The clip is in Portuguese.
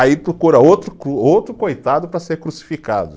Aí procura outro co, outro coitado para ser crucificado.